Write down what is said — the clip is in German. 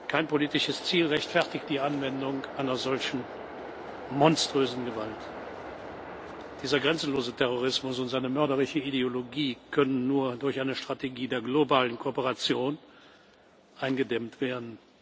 Kein politisches Ziel rechtfertigt die Anwendung einer solch monströsen Gewalt. Dieser grenzenlose Terrorismus und seine mörderische Ideologie können nur durch eine Strategie der globalen Kooperation eingedämmt werden.